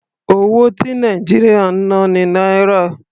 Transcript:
Owó ti Nàìjíríà ń ná ni Náírà.